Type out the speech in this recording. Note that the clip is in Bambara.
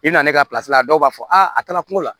I na ne ka la dɔw b'a fɔ a taara kungo la